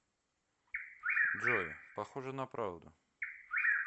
джой похоже на правду